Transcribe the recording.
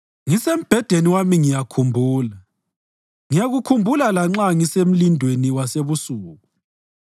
Ngisembhedeni wami ngiyakhumbula; ngiyakukhumbula lanxa ngisemlindweni wasebusuku.